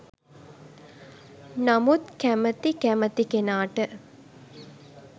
නමුත් කැමති කැමති කෙනාට